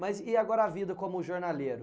Mas e agora a vida como jornaleiro?